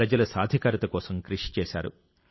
ప్రజల సాధికారత కోసం కృషి చేశారు